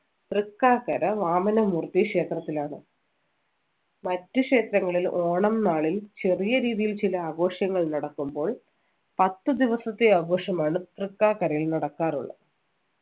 തൃക്കാക്കര വാമന മൂർത്തി ക്ഷേത്രത്തിലാണ് മറ്റു ക്ഷേത്രങ്ങളിൽ ഓണം നാളിൽ ചെറിയ രീതിയിൽ ചില ആഘോഷങ്ങൾ നടക്കുമ്പോൾ പത്ത് ദിവസത്തെ ആഘോഷമാണ് തൃക്കാക്കരയിൽ നടക്കാറുള്ളത്